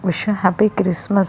Wish you happy Christmas .